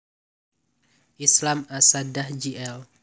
Islam Assaadah Jl